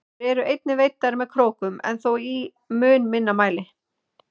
Þær eru einnig veiddar með krókum en þó í mun minni mæli.